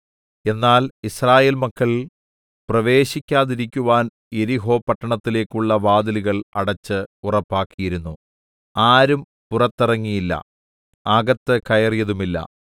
എന്നാൽ യിസ്രായേൽ മക്കൾ പ്രവേശിക്കാതിരിക്കുവാൻ യെരിഹോ പട്ടണത്തിലേക്കുള്ള വാതിലുകൾ അടച്ച് ഉറപ്പാക്കിയിരുന്നു ആരും പുറത്തിറങ്ങിയില്ല അകത്ത് കയറിയതുമില്ല